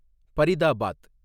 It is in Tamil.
பரிதாபாத்